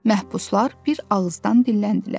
Məhbuslar bir ağızdan dilləndilər.